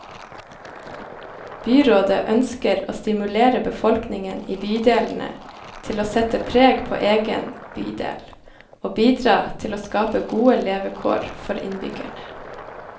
Byrådet ønsker å stimulere befolkningen i bydelene til å sette preg på egen bydel, og bidra til å skape gode levekår for innbyggerne.